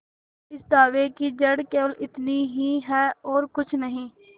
इस दावे की जड़ केवल इतनी ही है और कुछ नहीं